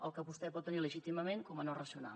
el que vostè pot tenir legítimament com a no racional